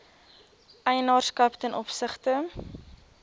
eienaarskap ten opsigte